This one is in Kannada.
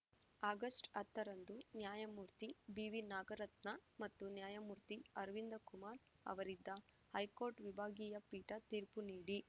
ಆಗಸ್ಟ್ ಹತ್ತರಂದು ನ್ಯಾಯಮೂರ್ತಿ ಬಿವಿನಾಗರತ್ನಾ ಮತ್ತು ನ್ಯಾಯಮೂರ್ತಿ ಅರವಿಂದ ಕುಮಾರ್‌ ಅವರಿದ್ದ ಹೈಕೋರ್ಟ್‌ ವಿಭಾಗೀಯ ಪೀಠ ತೀರ್ಪು ನೀಡಿ